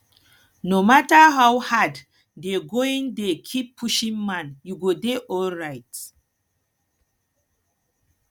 no matter how hard dey going dey keep pushing man you go dey alright